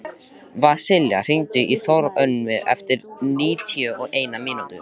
Vasilia, hringdu í Þórönnu eftir níutíu og eina mínútur.